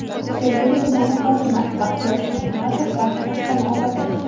Sergeli tumani hokimi Baxtiyor Shomurotov vazifasidan ozod etildi.